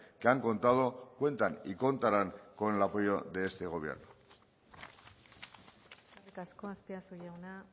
que han contado cuentan y contarán con el apoyo de este gobierno eskerrik asko azpiazu jauna